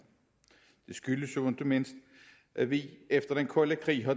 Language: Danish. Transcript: det skyldes jo ikke mindst at vi efter den kolde krig har